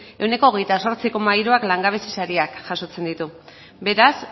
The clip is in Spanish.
veintiocho coma tres por ciento langabezi sariak jasotzen ditu beraz